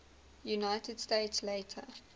united states later